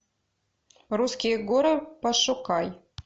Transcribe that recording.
русские горы пошукай